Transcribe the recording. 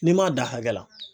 N'i m'a da hakɛ la.